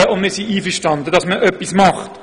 Wir sind damit einverstanden, dass man etwas tut.